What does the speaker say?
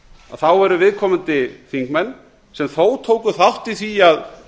þá eru viðkomandi þingmenn sem þó tóku þátt í því að